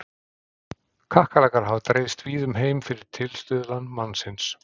Kakkalakkar hafa dreifst víða um heim fyrir tilstuðlan mannsins.